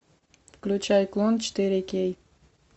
включай клон четыре кей